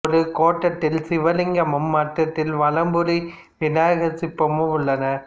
ஒரு கோட்டத்தில் சிவலிங்கமும் மற்றதில் வலம்புரி விநாயகர் சிற்பமும் உள்ளன